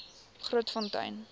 grootfontein